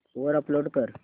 वर अपलोड कर